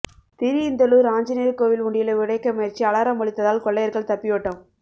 திருஇந்தளூர் ஆஞ்சநேயர் கோயில் உண்டியலை உடைக்க முயற்சி அலாரம் ஒலித்ததால் கொள்ளையர்கள் தப்பியோட்டம்